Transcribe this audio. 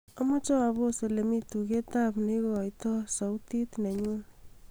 amoje apos olemi tuget ab neigoito sauti nenyun